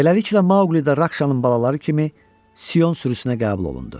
Beləliklə Mauqli də Rakşanın balaları kimi Sion sürüsünə qəbul olundu.